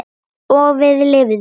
Og við lifðum.